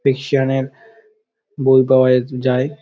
Asian -এর বই পাওয়া য যায় |